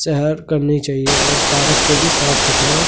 से हेल्प करनी चाहिए और पारक को भी साफ सुथरा--